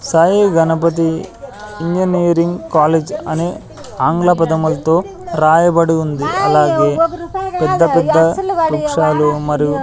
Sai Ganapathi engineering college అనే ఆంగ్ల పదములతో రాయబడి ఉంది అలాగే పెద్ద పెద్ద వృక్షాలు మరియు--